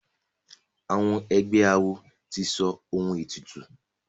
egbé àwọn àwo tí sọ òun ètùtù.